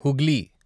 Hooghly